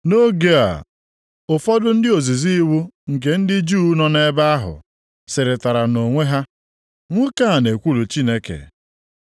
Nʼoge a, ụfọdụ ndị ozizi iwu nke ndị Juu nọ nʼebe ahụ sịrịtara onwe ha, “Nwoke a na-ekwulu Chineke.”